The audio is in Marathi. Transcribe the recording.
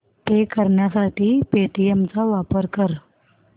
पे करण्यासाठी पेटीएम चा वापर कर